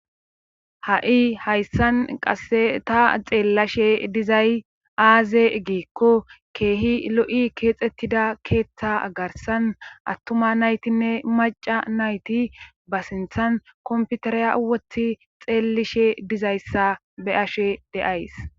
ha7i hayssan qase ta xeellashe dizay aaze giikko keehi lo7i keexettida keeththa garsan attuma naytinne macca nayti ba sinthan komputariya woti xeellishe dizayssa be ashe de7ays